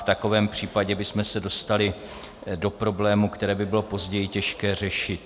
V takovém případě bychom se dostali do problémů, které by bylo později těžké řešit.